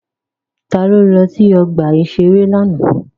Ta ló lọ sí ọgbà-ìṣeré lánàá?